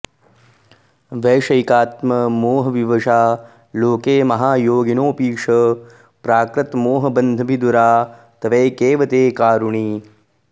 एवं वैषयिकात्ममोहविवशा लोके महायोगिनोऽ पीश प्राकृतमोहबन्धभिदुरा त्वेकैव ते कारुणी